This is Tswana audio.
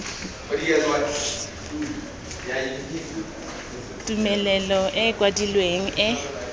tumelelo e e kwadilweng e